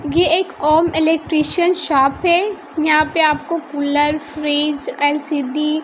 ये एक Om electrician shop है यहां पे आपको कूलर फ्रिज एल_सी_डी --